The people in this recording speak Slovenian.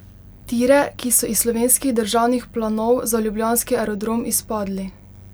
Tire, ki so iz slovenskih državnih planov za ljubljanski aerodrom izpadli.